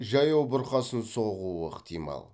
жаяу бұрқасын соғуы ықтимал